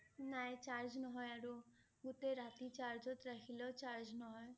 নাই charge নহয় আৰু গোটেই ৰাতি charge ত ৰাখিলে ও charge নহয়